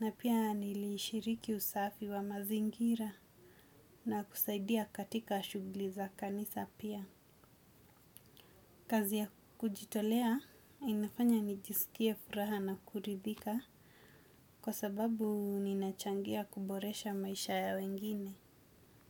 na pia nilishiriki usafi wa mazingira, na kusaidia katika shughuli za kanisa pia. Kazi ya kujitolea, inafanya nijisikie furaha na kuridhika, kwa sababu ninachangia kuboresha maisha ya wengine.